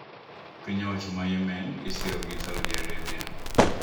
Piny owacho ma Yemen ma isiro gi Saudi Arabia